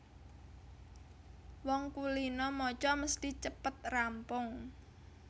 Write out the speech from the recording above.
Wong kulina maca mesthi cepet rampung